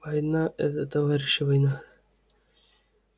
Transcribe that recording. война это товарищи война